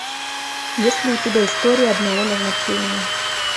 есть ли у тебя история одного назначения